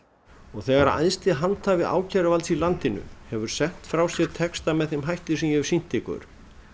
þegar æðsti handhafi ákæruvalds í landinu hefur sent frá sér texta með þeim hætti sem ég hef sýnt ykkur